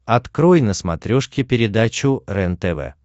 открой на смотрешке передачу рентв